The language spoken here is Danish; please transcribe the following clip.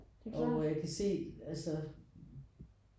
Og jeg kan se altså